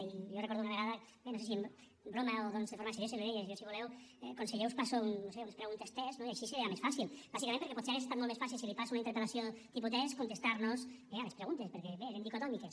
i jo recordo una vegada no sé si en broma o de forma seriosa jo li deia si voleu conseller jo us passo unes preguntes test i així serà més fàcil bàsicament perquè potser hauria estat molt més fàcil si li passo una interpel·lació tipus test contestar nos bé a les preguntes perquè eren dicotòmiques